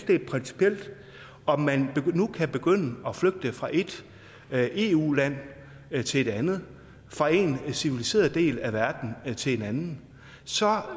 det er principielt om man nu kan begynde at flygte fra et eu land land til et andet fra en civiliseret del af verden til en anden så